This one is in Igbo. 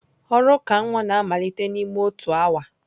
Ọrụ uka nwa na-amalite n'ime otu awa.